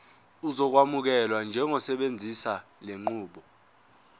uzokwamukelwa njengosebenzisa lenqubo